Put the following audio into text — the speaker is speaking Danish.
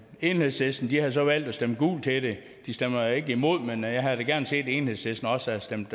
enhedslisten har så valgt at stemme gult til det de stemmer ikke imod men jeg havde da gerne set at enhedslisten også havde stemt